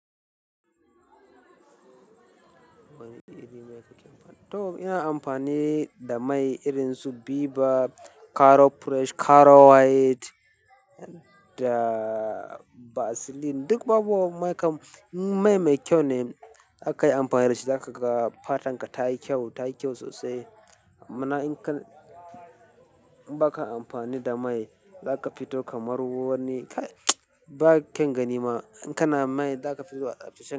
Wani iri mai ka ke amfani? To ina amfani da mai irin su Biba, Caro Fresh, Caro White da Vaseline. Duk babu mai kam-- mai mai kyau ne aka yi amfani da shi. Da ka ga fatar ka ta yi kyau, ta yi kyau sosai. Ma'ana in ka ba ka amfani da mai, za ka fito kamar wani, ba kyan gani ma. In ka na mai, za ka fito sosai.